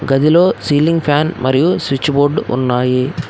గదిలో ceiling fan మరియు switch board ఉన్నాయి.